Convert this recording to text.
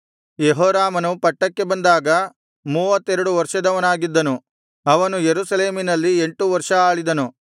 ಯೆಹೋರಾಮನು ಪಟ್ಟಕ್ಕೆ ಬಂದಾಗ ಮೂವತ್ತೆರಡು ವರ್ಷದವನಾಗಿದ್ದನು ಅವನು ಯೆರೂಸಲೇಮಿನಲ್ಲಿ ಎಂಟು ವರ್ಷ ಆಳಿದನು